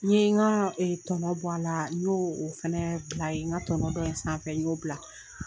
N ye n ka tɔnɔ bɔ a la n' o fɛnɛ, a ye n ka tɔnɔ dɔ ye sanfɛ y'o bila.